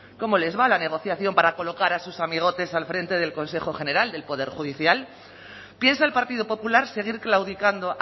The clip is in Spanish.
cómo les va la negociación para colocar a sus amigotes al frente del consejo general del poder judicial piensa el partido popular seguir claudicando